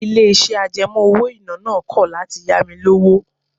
Ilé-iṣẹ́ àjẹmọ́ owó-ìná náà kọ̀ láti ya mi lówó